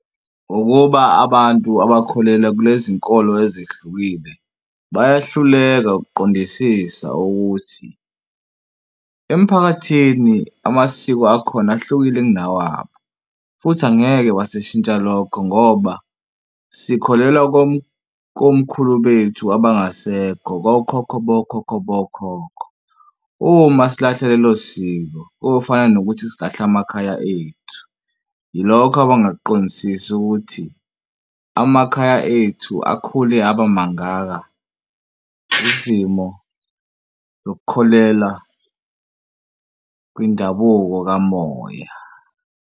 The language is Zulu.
Ukuba abantu abakholelwa kulezi nkolo ezihlukile bayahluleka ukuqondisisa ukuthi emphakathini amasiko akhona ahlukile kunawabo. Futhi angeke wasishintsha lokho ngoba sikholelwa komkhulu bethu abangasekho kokhokho bokhokho bokhokho. Uma silahla lelo siko kofana nokuthi silahla amakhaya ethu. Yilokho abangakuqondisisi ukuthi amakhaya ethu akhule aba mangaka, izimo zokukholela kwindabuko kamoya.